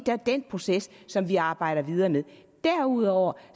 er den proces som vi arbejder videre med derudover